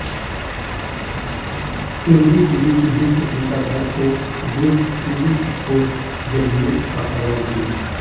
NDTV की ही सुप्रीता दास को बेस्ट टीवी स्पोर्ट्स जर्नलिस्ट के अवॉर्ड मिला